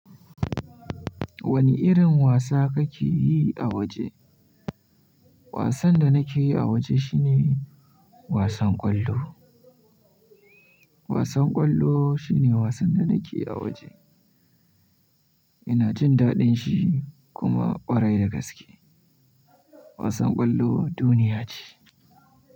Wani irin wasa kake yi a waje? Wasan da nake yi a waje shine wasan ƙwallo. Wasan ƙwallo shine wasan da nake a waje. Ina jin daɗin shi kuma ƙwarai da gaske wasan ƙwallo duniya ce.